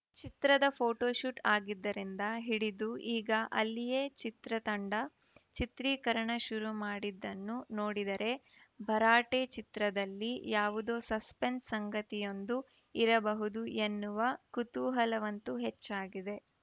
ಚಿತ್ರದ ಫೋಟೋಶೂಟ್‌ ಆಗಿದ್ದರಿಂದ ಹಿಡಿದು ಈಗ ಅಲ್ಲಿಯೇ ಚಿತ್ರ ತಂಡ ಚಿತ್ರೀಕರಣ ಶುರು ಮಾಡಿದ್ದನ್ನು ನೋಡಿದರೆ ಭರಾಟೆ ಚಿತ್ರದಲ್ಲಿ ಯಾವುದೋ ಸಸ್ಪೆನ್ಸ್‌ ಸಂಗತಿಯೊಂದು ಇರಬಹುದು ಎನ್ನುವ ಕುತೂಹಲವಂತೂ ಹೆಚ್ಚಾಗಿದೆ